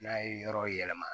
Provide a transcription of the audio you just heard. N'a ye yɔrɔ yɛlɛma